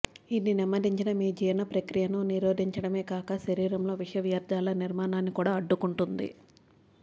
ఇది నెమ్మదించిన మీ జీర్ణ ప్రక్రియను నిరోధించడమే కాక శరీరంలో విష వ్యర్ధాల నిర్మాణాన్ని కూడా అడ్డుకుంటుంది